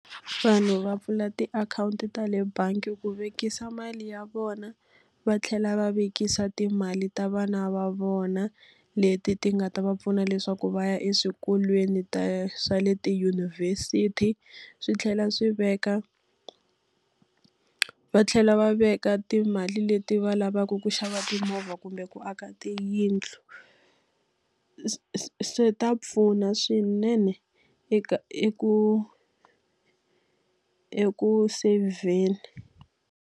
Vanhu va pfula tiakhawunti ta le bangi ku vekisa mali ya vona, va tlhela va vekisa timali ta vana va vona leti ti nga ta va pfuna leswaku va ya eswikolweni ta swa le tidyunivhesiti. Swi tlhela swi veka va tlhela va veka timali leti va lavaka ku xava timovha kumbe ku aka tiyindlu. Swi ta pfuna swinene eka eku eku seyivheni.